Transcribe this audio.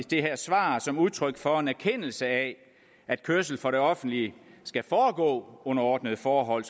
det her svar som udtryk for en erkendelse af at kørsel for det offentlige skal foregå under ordnede forhold